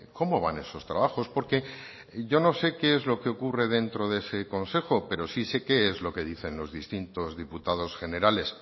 cómo van esos trabajos porque yo no sé qué es lo que ocurre dentro de ese consejo pero sí sé qué es lo que dicen los distintos diputados generales